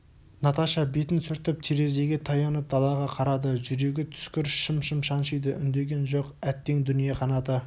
наташа бетін сүртіп терезеге таянып далаға қарады жүрегі түскір шым-шым шаншиды үндеген жоқ әттең дүние қанаты